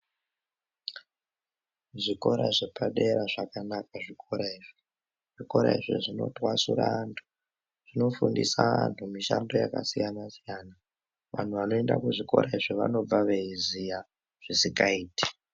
Zvikora zvepadera zvakanaka zvikora izvi zvinotwasura antu zvonofundisa antu mishando yakasiyana siyana anhu vanoenda kuzvikora izvi vanobva veiziya zvisingaiti .